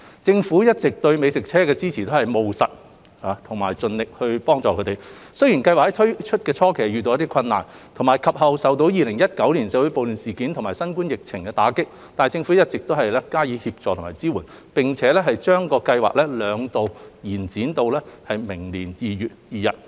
政府一直以來對美食車的支持都是務實，並盡力予以支援，雖然計劃於推出的初期遇到困難，及後亦受到2019年社會暴亂事件及新冠疫情的打擊，但政府一直加以協助和支援，並將計劃兩度延展至明年2月2日。